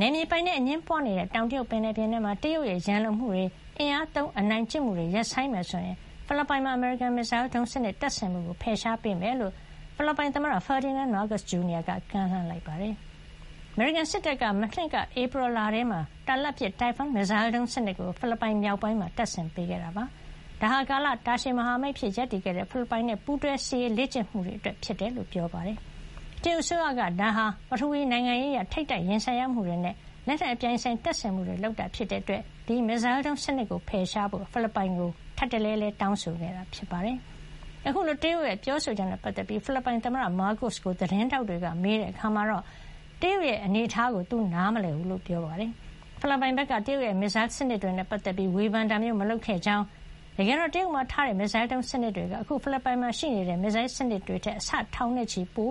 နယ်မြေပိုင်နက် အငြင်းပွါးနေတဲ့ တောင်တရုတ်ပင်လယ် ပြင်ထဲ တရုတ်ရဲ့ ရန်လိုမှုတွေ အင်အားသုံး အနိုင်ကျင့်မှုတွေ ရပ်ဆိုင်မယ် ဆိုရင် ဖိလစ်ပိုင်မှာ အမေရိကန် မစ်ဇိုင်းဒုံးစံနစ် တပ်ဆင်မှုကို ဖယ်ရှား ပေးမယ်လို့ ဖိလစ်ပိုင် သမ္မတ Ferdinand Marcos Jr. က ကမ်းလှမ်း လိုက်ပါတယ်။ အမေရိကန်စစ်တပ်က မနှစ်က ဧပြီလထဲမှာ တာလတ်ပစ် Typhon မစ်ဇိုင်းဒုံး စံနစ်ကို ဖိလစ်ပိုင် မြောက်ပိုင်းမှာ တပ်ဆင်ပေးခဲ့တာ ဖြစ်ပြီး ဒါဟာ ကာလတာရှည် မဟာမိတ်အဖြစ် ရပ်တည်ခဲ့တဲ့ ဖိလစ်ပိုင်နဲ့ ပူးတွဲ စစ်ရေး လေ့ကျင့်မှုတွေ အတွက် ဖြစ်ကြောင်း ပြောပါတယ်။ တရုတ်အစိုးရက ဒါဟာ ပထဝီ နိုင်ငံရေးအရ ထိပ်တိုက် ရင်ဆိုင်မှုတွေနဲ့ လက်နက်အပြိုင်အဆိုင် တပ်ဆင်မှုတွေ လုပ်တာ ဖြစ်တဲ့အတွက် ဒီ မစ်ဇိုင်းဒုံး စံနစ်ကို ဖယ်ရှားပစ်ဖို့ ဖိလစ်ပိုင်ကို ထပ်တလဲလဲ တောင်းဆိုခဲ့တာ ဖြစ်ပါတယ်။ အခုလို တရုတ်ရဲ့ ပြောဆိုချက်နဲ့ ပတ်သက်ပြီး ဖိလစ်ပိုင် သမ္မတ မားကို့စ် ကို သတင်းထောက်တွေက မေးတဲ့ အခါမှာတော့ တရုတ်ရဲ့ အနေ အထားကို သူနားမလည် ကြောင်းပြောပါတယ်။ ဖိလစ်ပိုင် ဘက်က တရုတ်ရဲ့ မစ်ဇိုင်း စံနစ်တွေနဲ့ ပတ်သက်ပြီး ဝေဖန်တာမျိုး မလုပ်ခဲ့ ကြောင်း တကယ်တာ့ တရုတ်မှာ ထားတဲ့ မစ်ဇိုင်းဒုံး စံနစ်ေွက အခု ဖိလစ်ပိုင်မှာ ရှိတဲ့ မစ်ဇိုင်းစံနစ်တွေထက် အဆ ထောင်နဲ့ချီ ပို